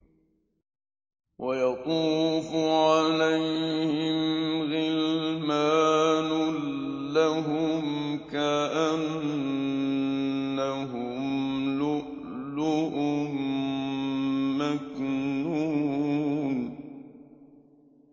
۞ وَيَطُوفُ عَلَيْهِمْ غِلْمَانٌ لَّهُمْ كَأَنَّهُمْ لُؤْلُؤٌ مَّكْنُونٌ